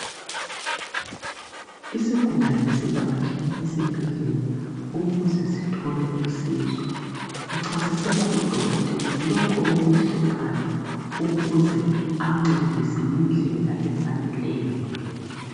isigulane sivatshele esibhedlela ukuze sithole usizo uchasisela udokotela lokho okumhluphayo ukuze amncedise ngendlela efaneleyo